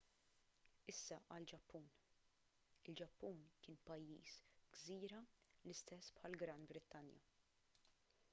issa għall-ġappun il-ġappun kien pajjiż gżira l-istess bħall-gran brittanja